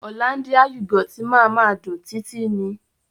Òlándíà yúgọ́tì ma ma dùn títí ni